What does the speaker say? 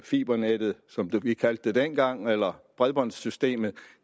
fibernettet som vi kaldte det dengang eller bredbåndssystemet